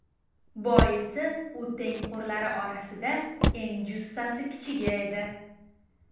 Boisi u tengqurlari orasida eng jussasi kichigi edi.